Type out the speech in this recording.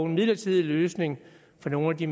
midlertidig løsning for nogle af de